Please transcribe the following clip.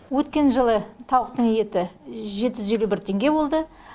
өткен жылы тауықтың еті жеті жүз елу бір теңге болды